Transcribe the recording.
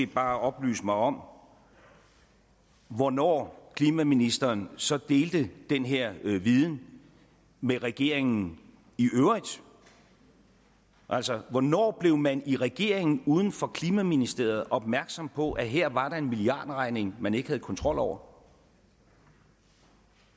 bare oplyse mig om hvornår klimaministeren så delte den her viden med regeringen i øvrigt altså hvornår blev man i regeringen uden for klimaministeriet opmærksom på at her var der en milliardregning man ikke havde kontrol over